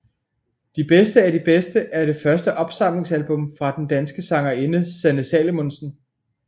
De bedste af de bedste er det første opsamlingsalbum fra den danske sangerinde Sanne Salomonsen